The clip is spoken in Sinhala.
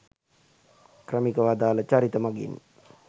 ක්‍රමිකව අදාල චරිත මගින්